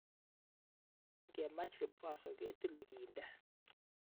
Ngemach vikwaso ketile kiinde